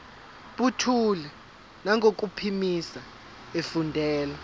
buthule nangokuphimisa efundela